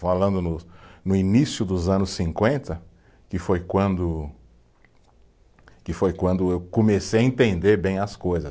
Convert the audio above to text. Falando no no início dos anos cinquenta, que foi quando, que foi quando eu comecei a entender bem as coisas.